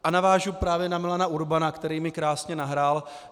A navážu právě na Milana Urbana, který mi krásně nahrál.